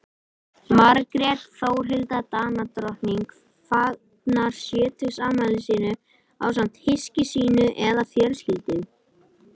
Margrét Þórhildur Danadrottning fagnar sjötugsafmæli sínu ásamt hyski sínu eða fjölskyldu.